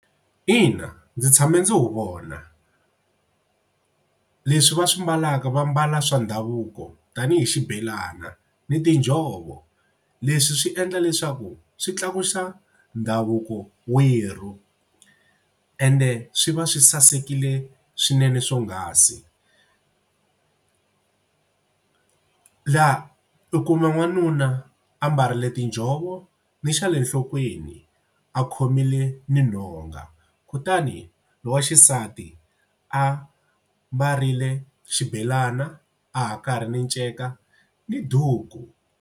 Ina, ndzi tshame ndzi wu vona. Leswi va swi mbalaka va mbala swa ndhavuko tanihi xibelana ni tinjhovo. Leswi swi endla leswaku swi tlakusa ndhavuko werhu ende swi va swi sasekile swinene swonghasi. La u kuma n'wanuna ambarile tinjhovo ni xa le nhlokweni a khomile ni nhonga kutani lowa xisati a mbarile xibelana a hakare ni nceka ni duku.